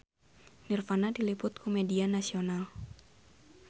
Nirvana diliput ku media nasional